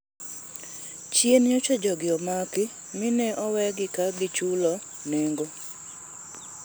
Chien nyocha jogi omaki mi ne owegi ka gichulo nengo